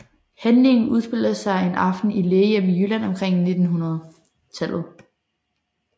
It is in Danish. Handlingen udspiller sig en aften i et lægehjem i Jylland omkring 1900